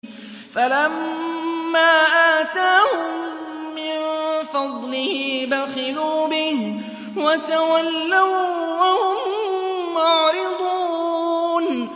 فَلَمَّا آتَاهُم مِّن فَضْلِهِ بَخِلُوا بِهِ وَتَوَلَّوا وَّهُم مُّعْرِضُونَ